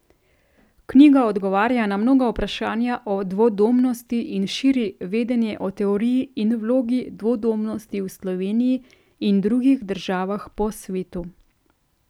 Knjiga odgovarja na mnoga vprašanja o dvodomnosti in širi vedenje o teoriji in vlogi dvodomnosti v Sloveniji in drugih državah po svetu.